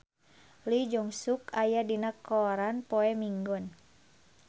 Lee Jeong Suk aya dina koran poe Minggon